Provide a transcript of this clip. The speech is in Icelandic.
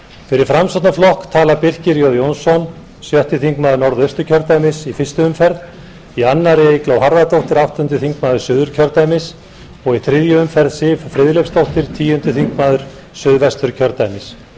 fyrir framsóknarflokk tala birkir j jónsson sjötti þingmaður norðausturkjördæmis í fyrstu umferð í annarri eygló harðardóttir áttundi þingmaður suðurkjördæmis og í þriðju umferð siv friðleifsdóttir tíundi þingmaður suðvesturkjördæmis